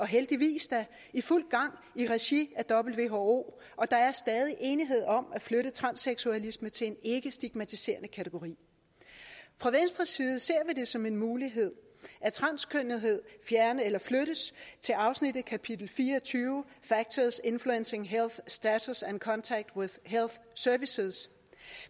heldigvis er i fuld gang i regi af who og der er stadig enighed om at flytte transseksualisme til en ikkestigmatiserende kategori fra venstres side ser vi det som en mulighed at transkønnethed flyttes til afsnittet kapitel fire og tyve factors influencing health status and contact with health services